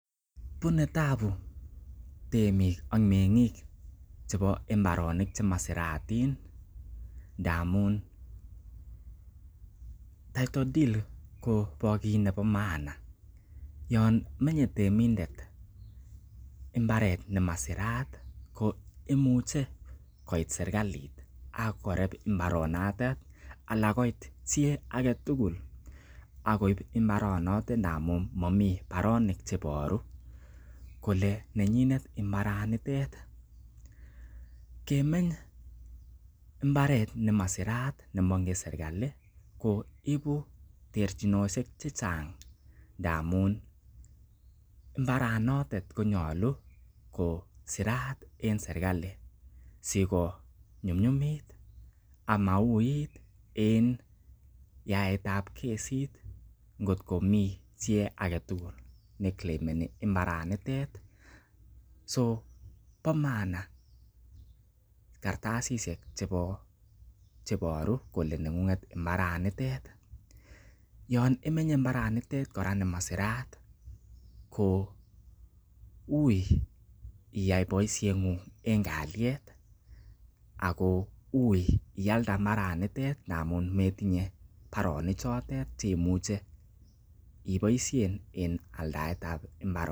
Bune taabu temik ak meng'ik chebo mbaronik chemosirotin ndamun title deed ko kit nebo maana yon menye temindet mbaret nemasirat koimuche koit serkalit ak koreb mbaranotet ana koot chi age tugul ak koib mbaranotet ndamun momi baronik che iboru kole nenyinet mabaranitet. Kemeny mbaret nemasirat ne moingen serkalit ko ibu terchinosiek che chang ndamun mbarabotet ko nyolu kos riat en serkalit sigonyumnyumit ama uiit en yaaetba kesit ngotko mi chi age tugul ne claimeni imbaranitet. So bo maana katasishhek che iboru kole neng'ung'et mbaranitet yon imenye mbaranitet kora ni masirat, ko uiy iyae boisieng'ung en kalyet ago uiy ialde mbaranitet ndamun metinye baronichotet che imuche iboisien en aldaet ab mbaranitet.